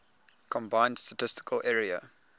combined statistical area